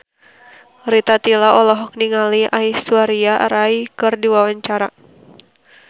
Rita Tila olohok ningali Aishwarya Rai keur diwawancara